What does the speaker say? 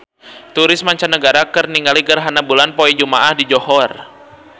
Turis mancanagara keur ningali gerhana bulan poe Jumaah di Johor